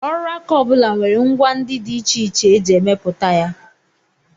Ọrụaka ọ bụla nwere ngwa ndị dị iche iche e ji emepụta ya